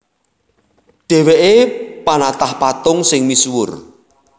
Dhèwèké panatah patung sing misuwur